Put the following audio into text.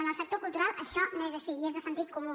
en el sector cultural això no és així i és de sentit comú